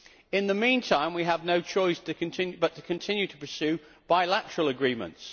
In the mean time, we have no choice but to continue to pursue bilateral agreements.